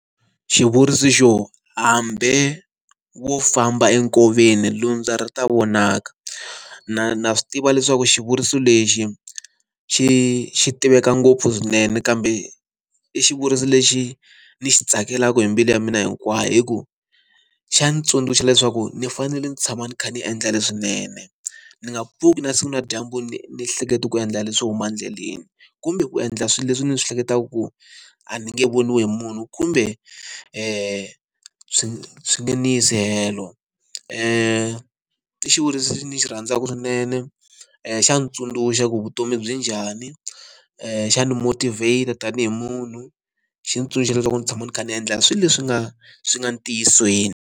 Xivuriso xo, hambi wo famba enkoveni lundza ri ta vonaka na na swi tiva leswaku xivuriso lexi xi xi tiveka ngopfu swinene kambe i xivuriso lexi ni xi tsakelaka hi mbilu ya mina hinkwayo hi ku xa ni tsundzuxa leswaku ni fanele ni tshama ni kha ni endla leswinene ni nga pfuki na siku na dyambu ni ni hleketa ku endla leswo huma endleleni kumbe ku endla swilo leswi ni swi hleketaka ku a ni nge voniwi hi munhu kumbe swi swi nge ni yi si helo i xivuriso lexi ni xi rhandzaka swinene i xa ntsundzuxa ku vutomi byi njhani xana motivate tanihi munhu xitsundzuxo leswaku ni tshama ni kha ni endla swilo leswi nga swi nga ntiyisweni.